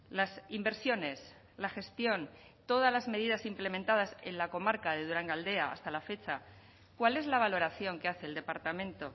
las inversiones la gestión todas las medidas implementadas en la comarca de durangaldea hasta la fecha cuál es la valoración que hace el departamento